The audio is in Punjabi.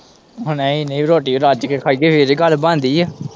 ਓ ਨਈ-ਨਈ ਰੋਟੀ ਰੱਜ ਕੇ ਖਾਈ ਦੀ ਏ ਫੇਰ ਹੀ ਗੱਲ ਬਣਦੀ ਏ।